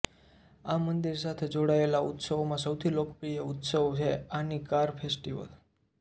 આ મંદિર સાથે જોડાયેલા ઉત્સવોમાં સૌથી લોકપ્રિય ઉત્સવ છે આની કાર ફેસ્ટિવલ